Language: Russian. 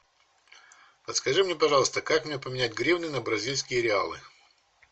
подскажи мне пожалуйста как мне поменять гривны на бразильские реалы